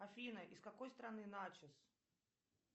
афина из какой страны начос